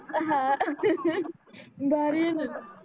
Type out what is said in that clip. हा भारी आहे णा ग